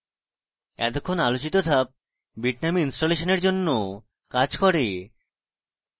এতক্ষন আলোচিত ধাপ bitnami ইনস্টলেশনের এর জন্য কাজ করে